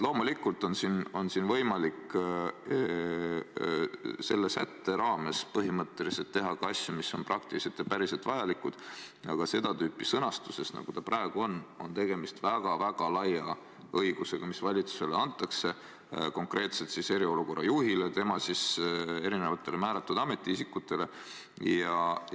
Loomulikult on võimalik selle sätte raames põhimõtteliselt teha ka asju, mis on praktiliselt ja päriselt vajalikud, aga seda tüüpi sõnastuses, nagu ta praegu on, on tegemist väga-väga laia õigusega, mis valitsusele, konkreetselt siis eriolukorra juhile ja tema määratud ametiisikutele antakse.